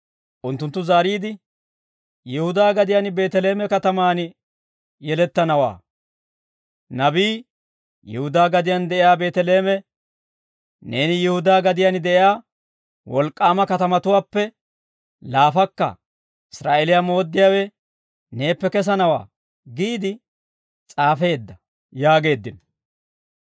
Unttunttu zaariide, «Yihudaa gadiyaan Beeteleeme katamaan yelettanawaa. Nabii, « ‹Yihudaa gadiyaan de'iyaa Beeteleeme, neeni Yihudaa gadiyaan de'iyaa wolk'k'aama katamatuwaappe laafakka. Israa'eeliyaa mooddiyaawe neeppe kesanawaa› giide s'aafeedda» yaageeddino.